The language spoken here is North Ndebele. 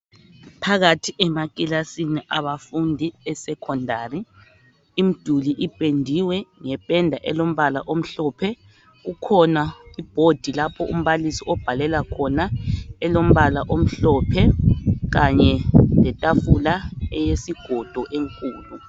Phakathi emakilasini abafundi beSekhondari imiduli ipendiwe ngependa elombala omhlophe kukhona ibhodi lapho umbalisi obhalela khona elombala omhlophe kanye letafula eyesigodo enkulu.